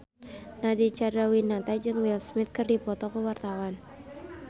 Nadine Chandrawinata jeung Will Smith keur dipoto ku wartawan